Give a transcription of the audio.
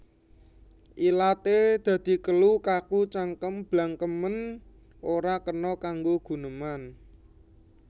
Ilaté dadi kelu kaku cangkem blangkemen ora kena kanggo guneman